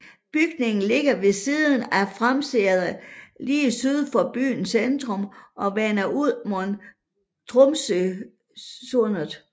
Bygnigen ligger ved siden af Framsenteret lige syd for byens centrum og vender ud mod Tromsøysundet